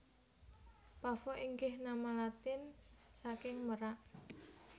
Pavo inggih nama Latin saking merak